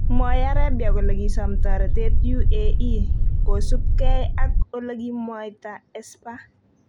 Mwoe Arabia kole kisom toretet UAE, kosupkei ak olekimwaita Esper.